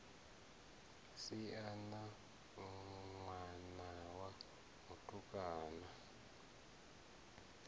si na ṋwana wa mutukana